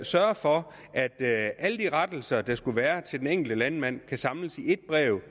sørge for at alle de rettelser der skulle være til den enkelte landmand kunne samles i et brev